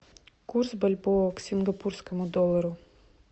курс бальбоа к сингапурскому доллару